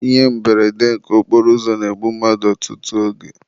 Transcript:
Ihe mberede okporoụzọ na-egbu mmadụ ọtụtụ oge.